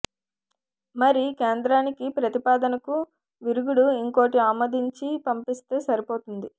మరి కేంద్రానికి ప్రతిపాదనకు విరుగుడు ఇంకోటి ఆమోదించి పంపిస్తే సరిపోతుంది